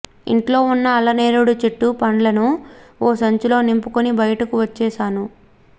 ఇంట్లో ఉన్న అల్లనేరేడు చెట్టు పండ్లను ఓ సంచిలో నింపుకొని బయటకు వచ్చేశాను